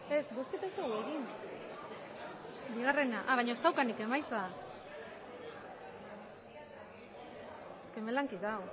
emandako